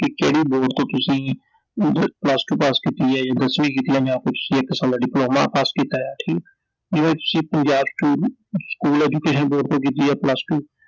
ਕਿ ਕਿਹੜੇ ਬੋਰਡ ਤੋਂ ਤੁਸੀਂ ਮਤਲਬ Plus two ਪਾਸ ਕੀਤੀ ਐ ਜਾਂ ਦਸਵੀਂ ਪਾਸ ਕੀਤੀ ਐ ਜਾਂ ਤੁਸੀਂ ਇੱਕ ਸਾਲ ਦਾ ਡਿਪਲੋਮਾ ਪਾਸ ਕੀਤਾ ਏ ਐ, ਠੀਕ I ਜਿਵੇਂ ਤੁਸੀਂ Punjab school school education board ਤੋਂ ਕੀਤੀ ਐ plus two